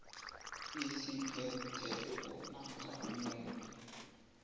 esiphetheko namkha umuntu